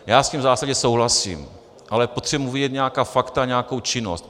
Já s tím v zásadě souhlasím, ale potřebuji vidět nějaká fakta, nějakou činnost.